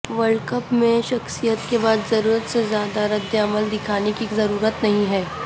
world cup میں شکست کے بعد ضرورت سے زیادہ ردعمل دکھانے کی ضرورت نہیں ہے